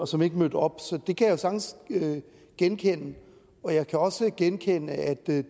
som ikke mødte op så det kan jeg sagtens genkende jeg kan også genkende at det